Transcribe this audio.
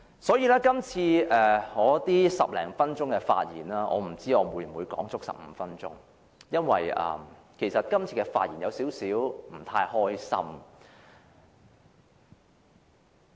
我不知道我今次發言會否用盡15分鐘，因為我今次發言時，感到有點不太高興。